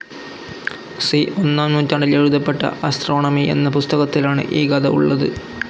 C. ഒന്നാം നൂറ്റാണ്ടിൽ എഴുതപ്പെട്ട ആസ്ട്രോണമി എന്ന പുസ്തകത്തിലാണ് ഈ കഥ ഉള്ളത്.